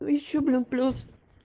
ещё блин плюс